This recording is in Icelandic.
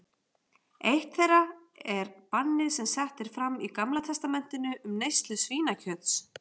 Eitt þeirra er bannið sem sett er fram í Gamla testamentinu um neyslu svínakjöts.